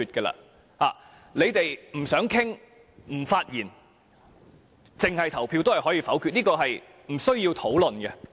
他們不想討論，不發言，只作表決也可以否決議案，這是不需要討論的。